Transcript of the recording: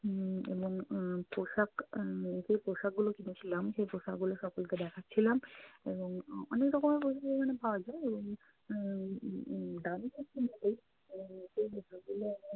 উম এবং আহ পোশাক আহ যেই পোশাক গুলো কিনেছিলাম সেই পোশাকগুলো সকলকে দেখাচ্ছিলাম এবং আহ অনেক রকম পোষাকই এখানে পাওয়া যায় এবং আহ উম দামী